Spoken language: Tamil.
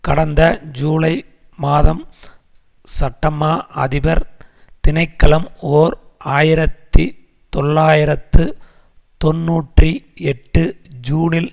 கடந்த ஜூலை மாதம் சட்டமா அதிபர் திணைக்களம் ஓர் ஆயிரத்தி தொள்ளாயிரத்து தொன்னூற்றி எட்டு ஜூனில்